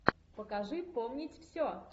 покажи помнить все